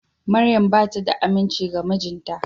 Maryam bata da aminci ga mijinta.